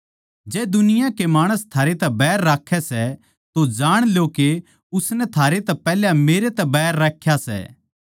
जै दुनिया के माणस थारैतै बैर राक्खै सै तो जाण लो के उसनै थारैतै पैहल्या मेरै तै बैर राख्या सै